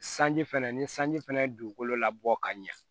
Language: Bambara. Sanji fɛnɛ ni sanji fɛnɛ ye dugukolo labɔ ka ɲɛ